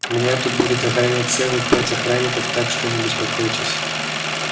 меня тут будут охранять целых пять охранников так что не беспокойтесь